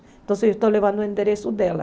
Então eu estou levando o endereço dela.